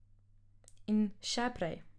In še prej.